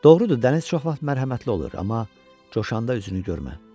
Doğrudur, dəniz çox vaxt mərhəmətli olur, amma coşanda üzünü görmə.